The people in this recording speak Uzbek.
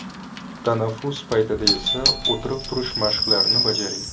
Tanaffus paytlari esa o‘tirib-turish mashqlarini bajaring.